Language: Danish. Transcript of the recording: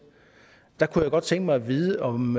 der kunne jeg godt tænke mig at vide om